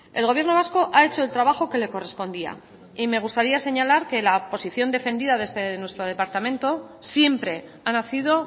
el gobierno vasco ha hecho el trabajo que le correspondía y me gustaría señalar que la posición defendida desde nuestro departamento siempre ha nacido